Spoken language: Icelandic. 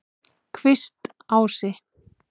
Kvistási